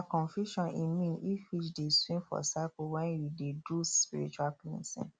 confusion e mean if fish dey swim for circle when you dey do spiritual cleansing